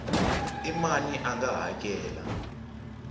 i mani a nga hakela